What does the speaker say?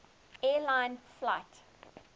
air lines flight